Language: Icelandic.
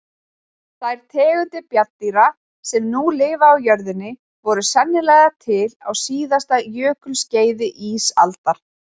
Þær tegundir bjarndýra sem nú lifa á jörðinni voru sennilega til á síðasta jökulskeiði ísaldar.